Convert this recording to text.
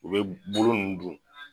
U bɛ bolo nunnu dun.